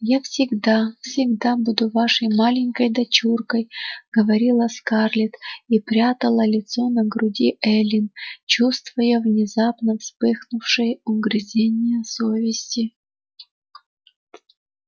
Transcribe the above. я всегда всегда буду вашей маленькой дочуркой говорила скарлетт и прятала лицо на груди эллин чувствуя внезапно вспыхнувшие угрызения совести